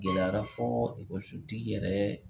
Gɛlɛyara fɔɔ ekɔliso tigi sutigi yɛrɛ